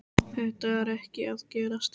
Þetta er ekki að gerast hér.